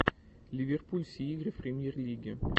ливерпуль все игры в премьер лиге